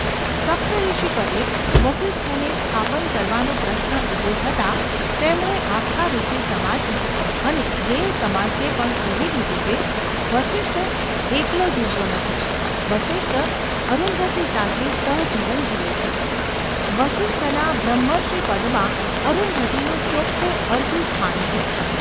સપ્તર્ષિપદે વસિષ્ઠને સ્થાપન કરવાનો પ્રશ્ન ઊભો થતાં તેમણે આખા ઋષિસમાજને અને દેવસમાજને પણ કહી દીધું કે વસિષ્ઠ એકલો જીવતો નથી, વસિષ્ઠ અરુંધતી સાથે સહજીવન જીવે છે; વસિષ્ઠના બ્રહ્મર્ષિપદમાં અરુંધતીનું ચોખ્ખું અર્ધું સ્થાન છે.